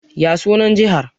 Ya sunan Jihar?